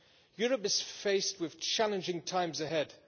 Europe is faced with challenging times ahead.